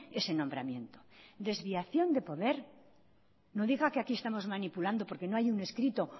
ese nombramiento desviación de poder no diga que aquí estamos manipulando porque no hay un escrito